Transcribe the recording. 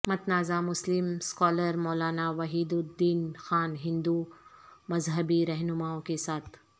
متنازع مسلم scholar Maulana Wahiduddin Khan ہندو مذہبی رہنماوں کے ساتھ